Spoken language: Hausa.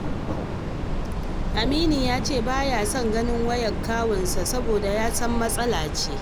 Aminu ya ce ba ya son ganin wayar kawunsa soboda ya san matsala ce